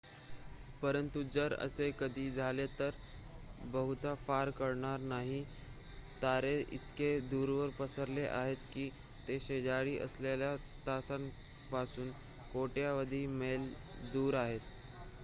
"परंतु जर असे कधी झाले तर बहुधा फार काळ घडणार नाही. तारे इतके दूरवर पसरलेले आहेत की ते "शेजारी" असलेल्या ताऱ्यांपासून कोट्यवधी मैल दूर आहेत.